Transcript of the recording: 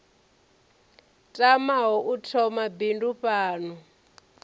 tamaho u thoma bindu fhano